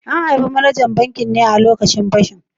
An harbe manajan bankin ne a lokacin fashin